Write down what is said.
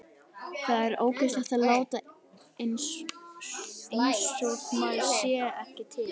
Það er óeðlilegt að láta einsog maður sé ekki til.